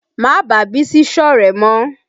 Má bàá Bísí sọ̀rẹ́ mọ́!